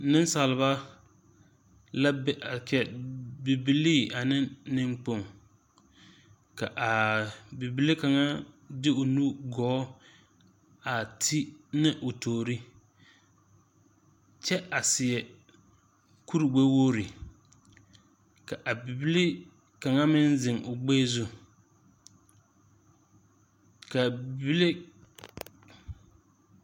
Nunsaaliba la bɛ a kye bibilii ane nengkpong ka a bibile kanga di ɔ nubiri goɔ a te ne ɔ touri kye a seɛ kuri gbewori ka a bibile kang meng zeng ɔ gbirɛ zu ka bibile.